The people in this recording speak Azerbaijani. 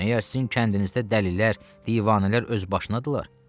Məgər sizin kəndinizdə dəlilər, divanələr öz başınadılar?